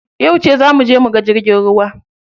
Yauce za muje muga jirgin ruwa?